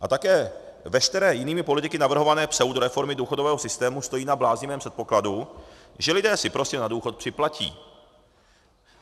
A také veškeré jinými politiky navrhované pseudoreformy důchodového systému stojí na bláznivém předpokladu, že lidé si prostě na důchod připlatí.